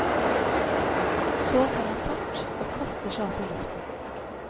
Så tar han fart og kaster seg opp i luften.